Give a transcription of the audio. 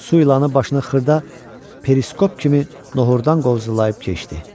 Su ilanı başını xırda periskop kimi nohurdan qovzulayıb keçdi.